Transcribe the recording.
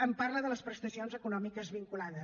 em parla de les prestacions econòmiques vinculades